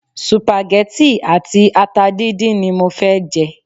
Supageti àti ata dindin ni mo fẹ́ jẹ.